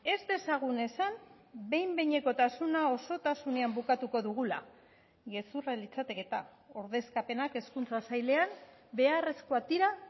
ez dezagun esan behin behinekotasuna osotasunean bukatuko dugula gezurra litzateke eta ordezkapenak hezkuntza sailean beharrezkoak dira